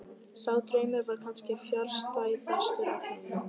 Sá draumur var kannski fjarstæðastur allra.